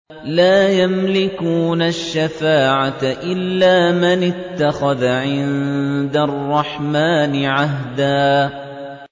لَّا يَمْلِكُونَ الشَّفَاعَةَ إِلَّا مَنِ اتَّخَذَ عِندَ الرَّحْمَٰنِ عَهْدًا